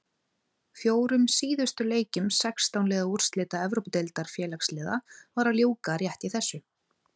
Fjórum síðustu leikjum sextán liða úrslita Evrópudeildar Félagsliða var að ljúka rétt í þessu.